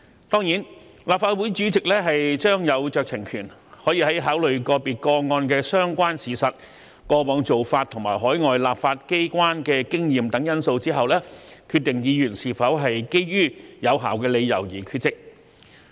當然，立法會主席將有酌情權，可以在考慮個別個案的相關事實、過往做法及海外立法機關的經驗等因素後，決定議員是否基於有效理由而缺席。